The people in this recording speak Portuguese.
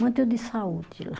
Muito de saúde lá.